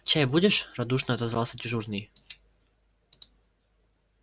чай будешь радушно отозвался дежурный